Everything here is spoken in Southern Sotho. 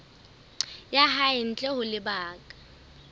ya hae ntle ho lebaka